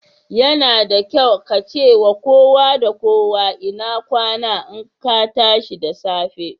Yana da kyau ka ce wa kowa da kowa Inakwana in ka tashi da safe.